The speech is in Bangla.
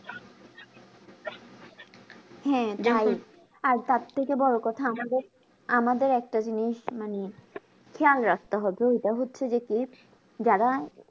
হ্যাঁ যাই আর তার থেকে বড়ো কথা আমাদের আমাদের একটা জিনিস মানে খেয়াল রাখতে হবে এটা হচ্ছে যে কি যারা